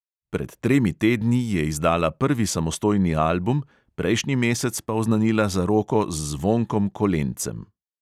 Pred tremi tedni je izdala prvi samostojni album, prejšnji mesec pa oznanila zaroko z zvonkom kolencem.